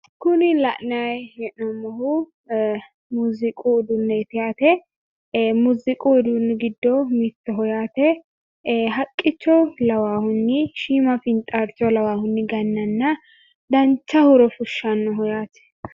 Kuni la’nayi hee’nommohu muziiqu uduuneeti yaate. Muuziiqu uduunni giddo mittoho yaate. Haaqqicho lawaahunni, shiima fiinxaarcho lawaahunni gananna dancha huuro fushshannoho yaate.